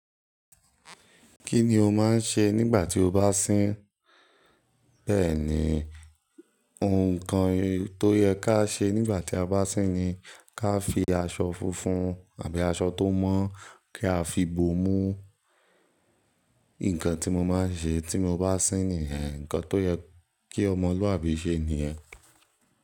Kí ni o máa ń ṣe nígbà tí o bá sín? Bẹ́ẹ̀ ni, nǹkan tó yẹ ká ṣe nígbà tí a bá sín ni ká fi aṣọ funfun àbí aṣọ tó mọ́ kiá fi bo mú. Nǹkan tí mo máa ń ṣe tí mo bá sín nìyẹn. Ǹkan tó yẹ kí ọmọlúàbí ṣe nìyẹn.